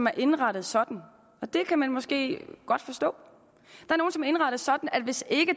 er indrettet sådan det kan man måske godt forstå at hvis ikke